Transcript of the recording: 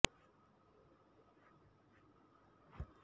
ಹೀಗಾಗಿ ನನಗೆ KPCC IT cell ನಲ್ಲಿ ಉದ್ಯೋಗ ಸಿಕ್ಕಿದೆ ಎಂದು ಪ್ರೇರಣಾ ತಿಳಿಸಿದರು